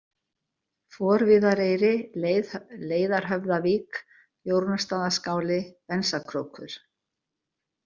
Forviðareyri, Leiðarhöfðavík, Jórunnarstaðaskál, Bensakrókur